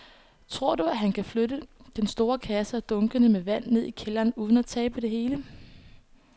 Tror du, at han kan flytte den store kasse og dunkene med vand ned i kælderen uden at tabe det hele?